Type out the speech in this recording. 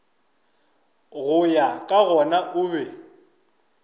go ya gona o be